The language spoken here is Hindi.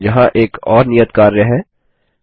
यहाँ एक और नियत कार्य है 1